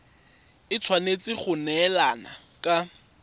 e tshwanetse go neelana ka